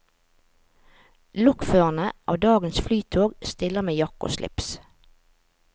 Lokførerne av dagens flytog stiller med jakke og slips.